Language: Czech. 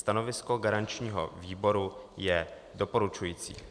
Stanovisko garančního výboru je doporučující.